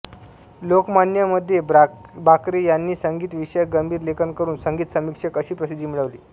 लोकमान्य मध्ये बाक्रे यांनी संगीत विषयक गंभीर लेखन करून संगीत समीक्षक अशी प्रसिद्धी मिळवली